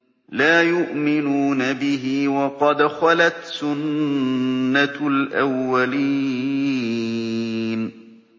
لَا يُؤْمِنُونَ بِهِ ۖ وَقَدْ خَلَتْ سُنَّةُ الْأَوَّلِينَ